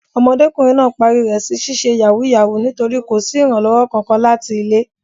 Ọmọdékùnrin náà parí rẹ̀ sí ṣíṣe yàwúúyàwuù nítorí kò sí ìrànlọ́wọ́ Kankan láti ilé.